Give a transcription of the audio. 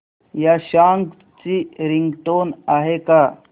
या सॉन्ग ची रिंगटोन आहे का